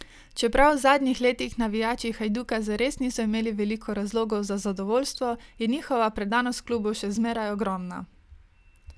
Čeprav v zadnjih letih navijači Hajduka zares niso imeli veliko razlogov za zadovoljstvo, je njihova predanost klubu še zmeraj ogromna.